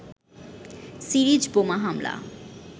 series বোমা হামলা